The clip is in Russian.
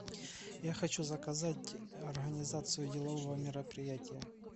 я хочу заказать организацию делового мероприятия